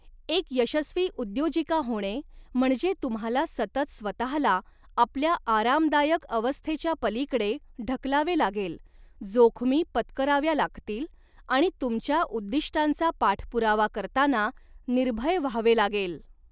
एक यशस्वी उद्योजिका होणे म्हणजे तुम्हाला सतत स्वतःला आपल्या आरामदायक अवस्थेच्यापलीकडे ढकलावे लागेल, जोखमी पत्कराव्या लागतील आणि तुमच्या उद्दिष्टांचा पाठपुरावा करताना निर्भय व्हावे लागेल.